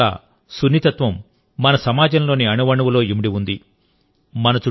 పర్యావరణం పట్ల సున్నితత్వం మన సమాజంలోని అణువణువులో ఇమిడి ఉంది